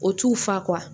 O t'u fa